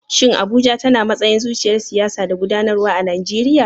Shin Abuja tana matsayin zuciyar siyasa da gudanarwa a Najeriya?